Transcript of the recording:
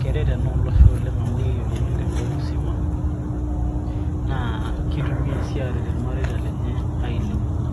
keret ina olosho amu keyiolouni tenkop musima naa kitumiya sii aaret irmareita lenye ailepunye.